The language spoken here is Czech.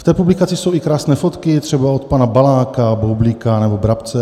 V té publikaci jsou i krásné fotky, třeba od pana Baláka, Boublíka nebo Brabce.